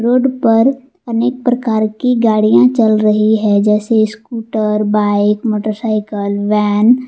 Road पर अनेक प्रकार की गाड़ियां चल रही है जैसे स्कूटर बाइक मोटरसाइकल वैन ।